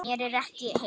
Mér er ekki heitt.